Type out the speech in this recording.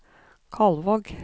Kalvåg